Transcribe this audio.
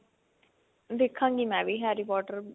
ਦੇਖਾਂ ਗਈ ਮੈਂ ਵੀ harry potter